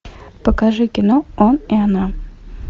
покажи кино он и она